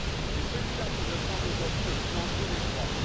C'est ce dernier qui me semble aujourd'hui le plus dangereux des trois.